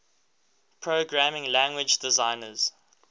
programming language designers